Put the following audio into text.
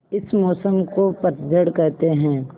इस मौसम को पतझड़ कहते हैं